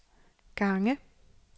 gange